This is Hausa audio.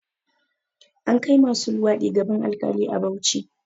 An kai masu luwaɗi gaban alkali a Bauchi